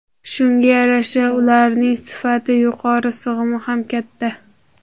Shunga yarasha ularning sifati yuqori, sig‘imi ham katta.